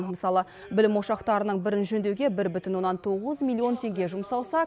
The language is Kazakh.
мысалы білім ошақтарының бірін жөндеуге бір бүтін оннан тоғыз миллион теңге жұмсалса